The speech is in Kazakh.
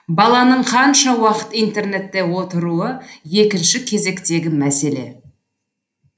баланың қанша уақыт интернетте отыруы екінші кезектегі мәселе